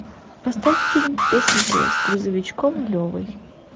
поставь фильм песенки с грузовичком левой